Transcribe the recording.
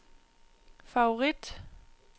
favorit